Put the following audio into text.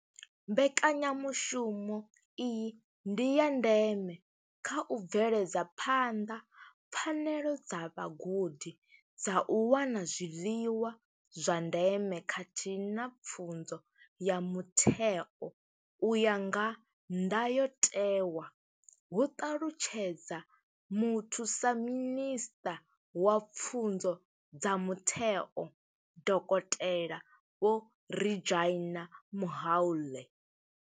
Mbekanya mushumo iyi ndi ya ndeme kha u bveledza phanḓa pfanelo dza vhagudi dza u wana zwiḽiwa zwa ndeme khathihi na pfunzo ya mutheo u ya nga ndayotewa, hu ṱalutshedza Muthusa minisṱa wa Pfunzo dza Mutheo, Dokotela Vho Reginah Mhaule.